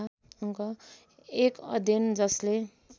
एक अध्ययन जसले